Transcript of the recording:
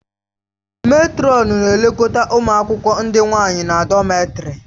Mètrọn na-elekọta ụmụ akwụkwọ ndị nwanyị na dọmètarì